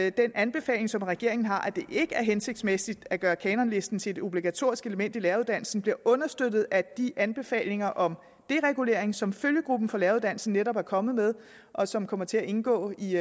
i den anbefaling som regeringen har ikke er hensigtsmæssigt at gøre kanonlisten til et obligatorisk element i læreruddannelsen bliver understøttet af de anbefalinger om deregulering som følgegruppen for læreruddannelsen netop er kommet med og som kommer til at indgå i